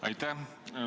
Aitäh!